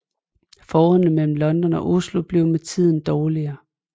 Forholdet mellem London og Oslo blev med tiden dårligere